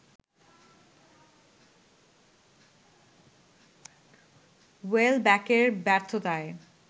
ওয়েলব্যকের ব্যর্থতায়